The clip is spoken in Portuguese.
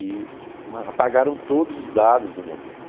E apagaram todos os dados do momento.